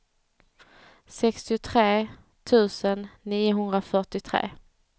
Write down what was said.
sextiotre tusen niohundrafyrtiotre